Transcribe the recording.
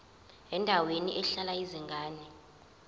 endaweni ehlala izingane